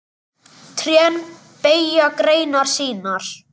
Trén beygja greinar sínar.